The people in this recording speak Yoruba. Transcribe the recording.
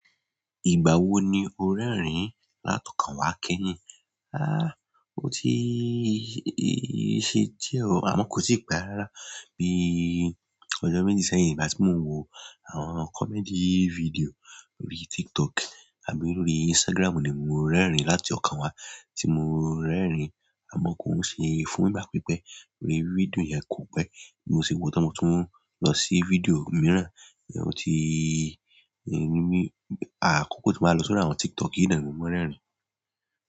Ìgbà wo ni o rẹ́rìn-ín láti ọkàn wá kẹ́yìn? Aá, ó ti ṣe díẹ̀ o, àmọ́ kò sì pẹ̀ rara bí ọjọ́ méjì sẹ́yìn nígbà tí mo ń wo àwọn comedy video lórí TikTok àbí lórí Instagram ni mo rẹ́rìn-ín láti ọkàn wá tí mo rẹ́rìn-ín, àmọ́ kò n ṣe fún nípa pípẹ́ ní fídíò yẹn kò pẹ́. Mo sì wò tán mọtún lọ sí fídíò mìíràn, ó ti ní mí, àkókò tí mo máa lò sọ́rí àwọn TikTok yìí náà mo máa ń rẹ́rìn-ín.